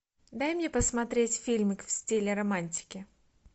дай мне посмотреть фильмы в стиле романтики